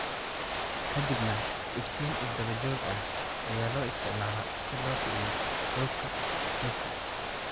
Kadibna iftiin isdaba joog ah ayaa loo isticmaalaa si loo kiciyo xuubka xuubka.